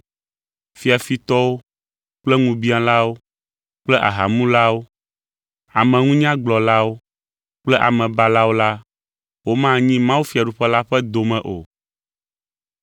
fiafitɔwo kple ŋubiãlawo kple ahamulawo, ameŋunyagblɔlawo kple amebalawo la, womanyi mawufiaɖuƒe la ƒe dome o.